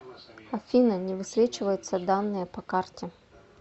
афина не высвечиваются данные по карте